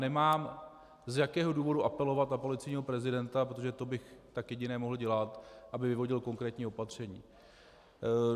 Nemám z jakého důvodu apelovat na policejního prezidenta, protože to bych tak jedině mohl dělat, aby vyvodil konkrétní opatření.